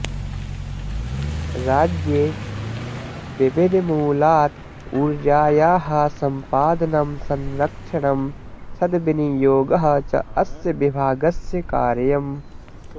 राज्ये विविधमूलात् ऊर्जायाः सम्पादनं संरक्षणं सद्विनियोगः च अस्य विभागस्य कार्यम्